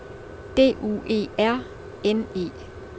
D U E R N E